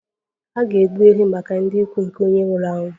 A ga-egbu ehi maka ndị ikwu nke onye nwụrụ anwụ